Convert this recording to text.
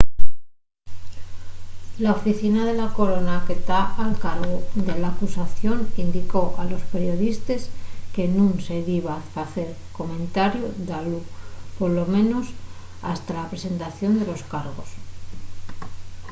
la oficina de la corona que ta al cargu de l’acusación indicó a los periodistes que nun se diba facer comentariu dalu polo menos hasta la presentación de los cargos